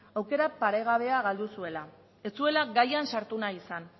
aukera paregabea galdu zuela ez zuela gaian sartu nahi izan